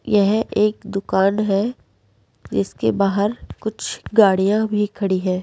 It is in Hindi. यह एक दुकान है इसके बाहर कुछ गाड़ियां भी खड़ी है।